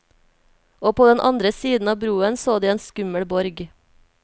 Og på den andre siden av broen så de en skummel borg.